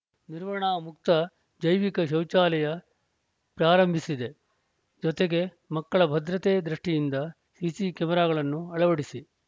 ನಿರ್ವಹಣಾ ಮುಕ್ತ ಜೈವಿಕ ಶೌಚಾಲಯ ಪ್ರಾರಂಭಿಸಿದೆ ಜೊತೆಗೆ ಮಕ್ಕಳ ಭದ್ರತೆ ದೃಷ್ಟಿಯಿಂದ ಸಿಸಿ ಕ್ಯಾಮೆರಾಗಳನ್ನು ಅಳವಡಿಸಿ